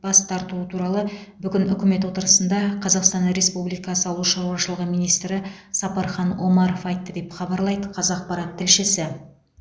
бас тартуы туралы бүгін үкімет отырысында қазақстан республикасы ауыл шаруашылығы министрі сапархан омаров айтты деп хабарлайды қазақпарат тілшісі